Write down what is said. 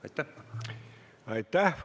Aitäh!